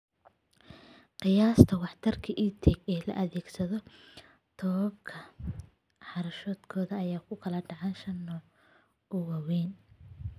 Qiyaasta waxtarka EdTech ee la adeegsaday tobankan daraasadood ayaa u kala dhacay shan nooc oo waaweyn